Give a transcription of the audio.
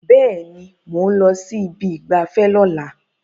Bẹ́ẹ̀ ni, mò ń lọ sí ibi ìgbafẹ́ lọ́la